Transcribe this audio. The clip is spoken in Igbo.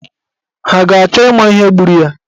Ha ga-achọ ịma ihe gburu ya?